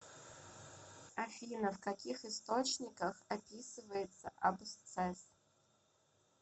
афина в каких источниках описывается абсцесс